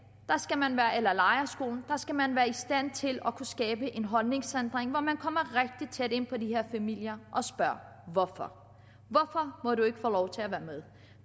eller i lejrskolen der skal man være i stand til at kunne skabe en holdningsændring hvor man kommer rigtig tæt ind på de her familier og spørger hvorfor hvorfor må du ikke få lov til at være med